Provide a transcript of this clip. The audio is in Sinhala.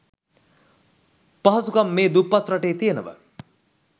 පහසුකම් මේ දුප්පත් රටේ තියෙනව.